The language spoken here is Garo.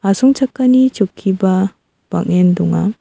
asongchakani chokkiba bang·en donga.